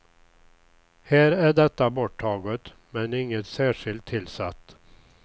Här är detta borttaget, men inget särskilt tillsatt.